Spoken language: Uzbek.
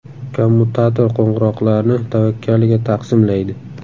Kommutator qo‘ng‘iroqlarni tavakkaliga taqsimlaydi.